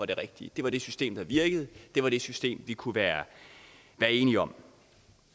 det rigtige det var det system der virkede og det var det system vi kunne være enige om